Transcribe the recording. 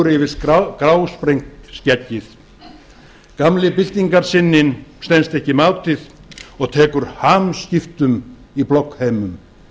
yfir grásprengt skeggið gamli byltingarsinninn stenst ekki mátið og tekur hamskiptum í bloggheimum